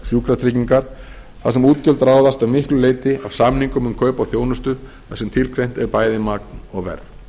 sjúkratryggingar þar sem útgjöld ráðast að miklu leyti af samningum um kaup á þjónustu þar sem tilgreint er bæði magn og verð